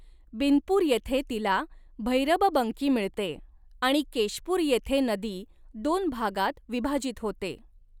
बिनपूर येथे तिला भैरबबंकी मिळते आणि केशपूर येथे नदी दोन भागांत विभाजित होते.